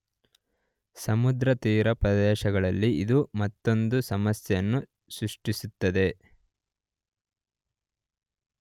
ಸಮುದ್ರ ತೀರ ಪ್ರದೇಶಗಳಲ್ಲಿ ಇದು ಮತ್ತೊಂದು ಸಮಸ್ಯೆಯನ್ನು ಸೃಷ್ಟಿಸುತ್ತದೆ.